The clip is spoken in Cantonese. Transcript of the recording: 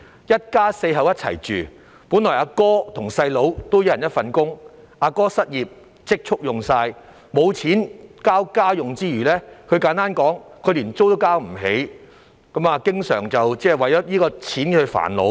一家四口住在一起，本來哥哥和弟弟各打一份工，但哥哥失業並花光了積蓄，沒有錢給家用之餘，簡單來說，連租金也交不起，經常為錢銀煩惱。